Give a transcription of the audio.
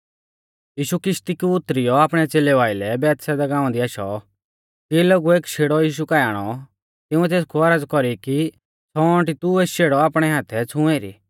यीशु किशती कु उतरियौ आपणै च़ेलेऊ आइलै बैतसैदा गाँवा दी आशौ तिऐ लोगुऐ एक शेड़ौ यीशु काऐ आणौ तिंउऐ तेसकु औरज़ कौरी कि छ़ौंअटी तू एस शेड़ौ आपणै हाथै छ़ूं एरी